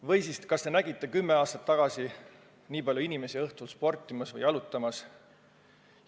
Või siis kas te nägite kümme aastat tagasi nii palju inimesi õhtul sportimas või jalutamas?